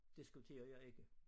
Diskuterer jeg ikke